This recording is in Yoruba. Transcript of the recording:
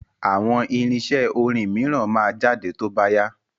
Àwọn irinṣẹ́ orin mìíràn máa jáde tó bá yá.